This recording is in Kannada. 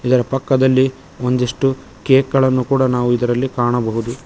ಇದರ ಪಕ್ಕದಲಿ ಒಂದಿಷ್ಟು ಕೇಕ್ ಗಳನ್ನು ಕೂಡ ನಾವು ಇದರಲ್ಲಿ ಕಾಣಬಹುದು.